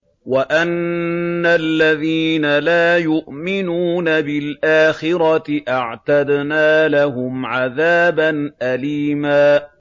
وَأَنَّ الَّذِينَ لَا يُؤْمِنُونَ بِالْآخِرَةِ أَعْتَدْنَا لَهُمْ عَذَابًا أَلِيمًا